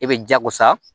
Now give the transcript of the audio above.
E bɛ jago sa